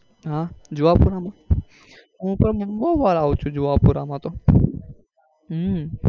હા જુહાપુરા માં હું પણ બઉ વાર એવું છું જુહાપુરા માં તો હમ